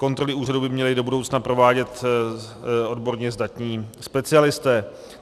Kontroly úřadu by měly do budoucna provádět odborně zdatní specialisté.